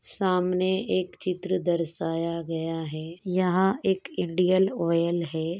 सामने एक चित्र दर्शाया गया है यहाँ एक इंडियन ऑयल है।